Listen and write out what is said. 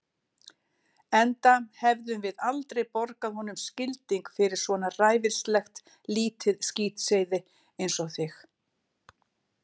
Enda hefðum við aldrei borgað honum skilding fyrir svona ræfilslegt lítið skítseiði einsog þig.